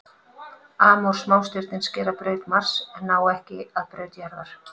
Amor smástirnin skera braut Mars en ná ekki að braut jarðar.